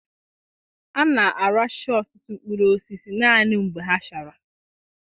A na-aracha ọtụtụ mkpụrụ osisi naanị mgbe ha chara acha.